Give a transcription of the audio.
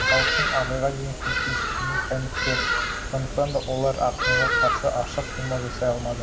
халықтың абайға деген сүйіспеншілігінен қаймықты сондықтан да олар акынға қарсы ашық қимыл жасай алмады